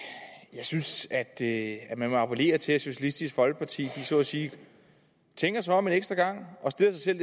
jeg synes at at vi må appellere til at socialistisk folkeparti så at sige tænker sig om en ekstra gang og stiller sig